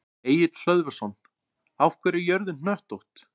Egill Hlöðversson: Af hverju er jörðin hnöttótt?